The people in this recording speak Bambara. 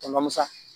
Tɔmɔnɔ musa